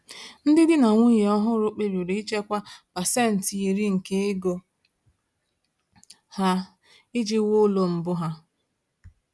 Ndị di na nwunye ọhụrụ kpebiri ichekwa 10% nke ego ha iji wuo ụlọ mbụ ha.